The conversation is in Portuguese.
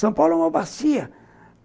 São Paulo é uma bacia.